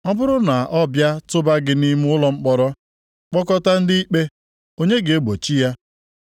“Ọ bụrụ na ọ bịa tụba gị nʼime ụlọ mkpọrọ, kpọkọta ndị ikpe, onye ga-egbochi ya?